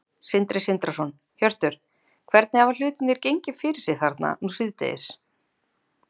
Sindri Sindrason: Hjörtur, hvernig hafa hlutirnir gengið fyrir sig þarna nú síðdegis?